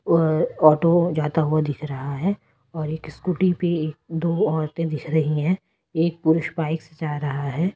और ऑटो जाता हुआ दिख रहा है और एक स्कूटी पे दो औरतें दिख रही हैं एक पुरुष बाइक जा रहा है।